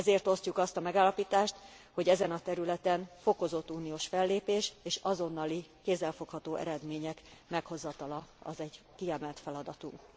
elő. Ezért osztjuk azt a megállapítást, hogy ezen a területen fokozott uniós fellépés és azonnali, kézzel fogható eredmények meghozatala az egy kiemelt feladatunk.